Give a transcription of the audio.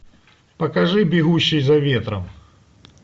покажи бегущий за ветром